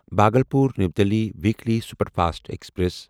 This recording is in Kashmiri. Bhagalpur new Delhi weekly superfast express